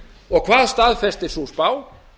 og hvað staðfestir sú spá